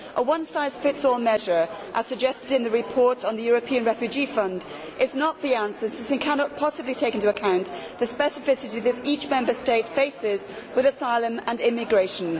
A one size fits all measure as suggested in the report on the European Refugee Fund is not the answer as it cannot possibly take into account the specificity which each Member State faces with asylum and immigration.